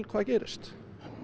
hvað gerist